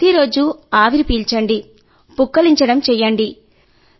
ప్రతిరోజూ ఆవిరి పీల్చడం పుక్కిలించడం చేయండి